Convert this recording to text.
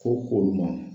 Fo k'o ma